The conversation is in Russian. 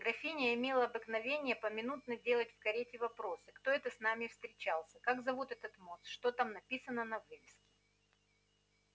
графиня имела обыкновение поминутно делать в карете вопросы кто это с нами встречался как зовут этот мост что там написано на вывеске